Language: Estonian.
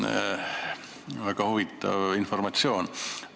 See oli väga huvitav informatsioon.